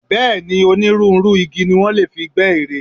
Bẹ́ẹ̀ ni, onírúnrú igi ni wọ́n lè fi gbẹ́ ère.